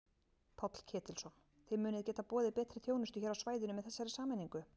Páll Ketilsson: Þið munið geta boðið betri þjónustu hér á svæðinu með þessari sameiningu?